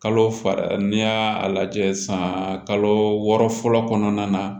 Kalo fara n'i y'a lajɛ sisan kalo wɔɔrɔ fɔlɔ kɔnɔna na